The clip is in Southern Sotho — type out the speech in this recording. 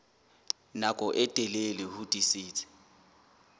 nako e telele ho tiisitse